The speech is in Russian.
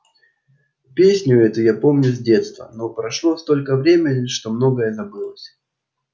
песню эту я помню с детства но прошло столько времени что многое забылось